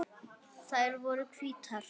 Þær eru hvítar.